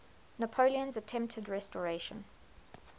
napoleon's attempted restoration